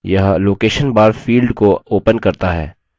यह location bar field को opens करता है